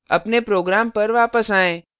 अपने program पर वापस आएँ